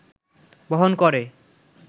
বহন করে